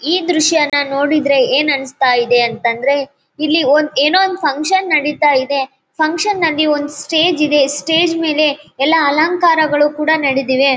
ಈ ದೃಶ್ಯನ ನೋಡಿದ್ರೆ ಏನು ಅನ್ನಿಸ್ತಾ ಇದೆ ಅಂತಂದ್ರೆ ಇಲ್ಲಿ ಏನೋ ಒಂದ್ ಫ್ಯಾಂಕ್ಷನ್ ನಡೀತಾ ಇದೆ ಇ ಫ್ಯಾಂಕ್ಷನ್ ಅಲ್ಲಿಒಂದು ಸ್ಟೇಜ್ ಇದೆ ಸ್ಟೇಜ್ ಮೇಲೆ ಎಲ್ಲಾ ಅಲಂಕಾರಗಳು ಕೂಡ ನಡೆದಿವೆ .